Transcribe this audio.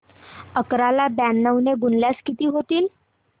अकरा ला ब्याण्णव ने गुणल्यास किती होतील